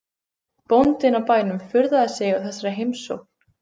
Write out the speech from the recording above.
Bóndinn á bænum furðaði sig á þessari heimsókn.